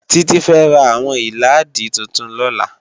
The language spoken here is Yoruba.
Titi fè rá áwòn ilàádí tútún lòlá